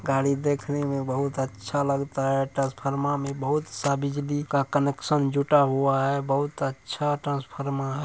गाड़ी देखने मे बहुत अच्छा लगता है। ट्रांसफर्मर में बहुत सा बिजली का कनेक्सन जुटा हुआ है बहुत अच्छा ट्रांसफर्मर है।